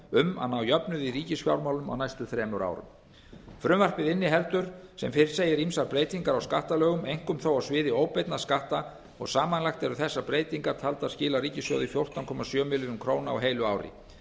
um að ná jöfnuði í ríkisfjármálum á næstu þremur árum frumvarpið inniheldur sem fyrr segir ýmsar breytingar á skattalögum einkum þó á sviði óbeinna skatta og samanlagt eru þessar breytingar taldar skila ríkissjóði fjórtán komma sjö milljörðum króna á heilu ári